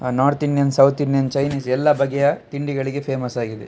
North Indian South Indian Chinese ಎಲ್ಲ ಬಗೆಯ ತಿಂಡಿಗಳಿಗೆ ಫೇಮಸ್ ಆಗಿದೆ.